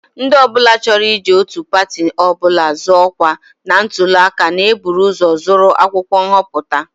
Ndị ọ bụla chọrọ iji otu pati ọ bụla zọọ ọkwa na ntụli aka na-eburu ụzọ zụrụ akwụkwọ nhọpụta